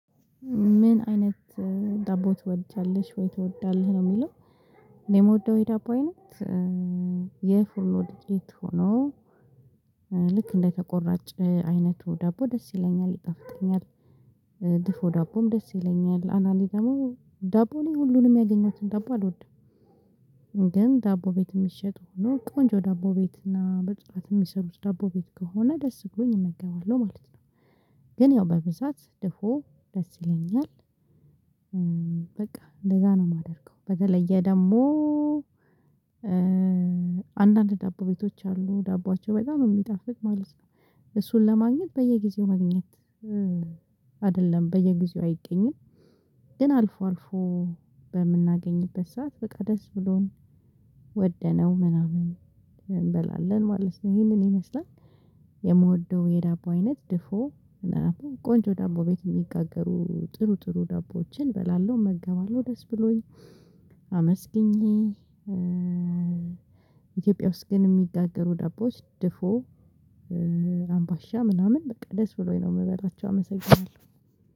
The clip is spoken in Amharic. ምን አይነት ዳቦ ትወጃለሽ? ወይ ትወዳለህ? ነው የሚለው እኔ የምወደው የዳቦ አይነት የፉርኖ ዱቄት ሆኖ ልክ እንደተቆራጭ አይነቱ ዳቦ ደስ ይለኛል ይጣፍጥኛል፣ ድፎ ዳቦም ደስ ይለኛል፣ አንዳንዴ ደግሞ ዳቦ እኔ ሁሉንም ያገኘሁትን ዳቦ አልወድም። ግን ዳቦ ቤት የሚሸጡ ሆኖ ቆንጆ ዳቦ ቤት እና በጽዳት የሚሰሩት ዳቦ ቤት ከሆነ ደስ ብሎኝ እመገባለሁ ማለት ነው። ግን ያው በብዛት ድፎ ደስ ይለኛል። በቃ እንደዛ ነው የማደርገው በተለየ ደግሞ አንዳንድ ዳቦ ቤቶች አሉ ዳቦዎች በጣም የሚጣፍጥ ማለት ነው። እሱን ለማግኘት በየጊዜው መግኘት አይደለም በየጊዜው አይገኝም። ግን አልፎ አልፎ በምናገኝበት ሰዓት በቃ ደስ ብሎን ወደነው ምናምን እንበላለን ማለት ነው ይሄንን ይመስላል። የምወደው የዳቦ አይነት ድፎ ቆንጆ ዳቦ ቤት የሚጋገሩ ጥሩ ጥሩ ዳቦዎችን እበላለሁ እመገባለሁ ደስ ብሎኝ አመስግኜ ኢትዮጵያ ውስጥ ግን የሚጋገሩ ዳቦች ድፎ፣ አምባሻ ምናምን በቃ ደስ ብሎኝ ነው የምበላቸው አመሰግናለሁ።